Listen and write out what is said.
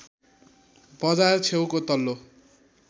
बजार छेउको तल्लो